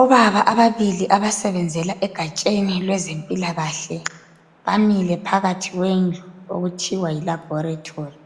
Obaba ababili abasebenzela egatsheni lwezempilakahle bamile phakathi kwendlu okuthiwa yilaboratory.